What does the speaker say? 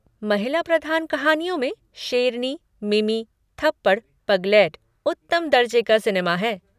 महिला प्रधान कहानियों में शेरनी, मिमी, थप्पड़, पगलेट उत्तम दर्जे का सिनेमा है।